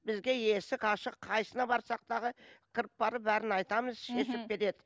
бізге есік ашық қайсысына барсақ тағы кіріп барып бәрін айтамыз мхм шешіп береді